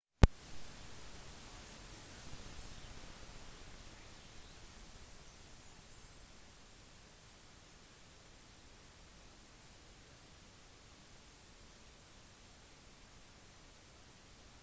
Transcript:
i tusenvis av år hadde kristendommen knyttet sammen europeiske stater til tross for forskjeller i språk og skikker